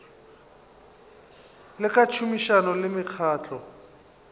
le ka tšhomišano le mekgatlo